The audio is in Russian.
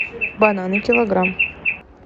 бананы килограмм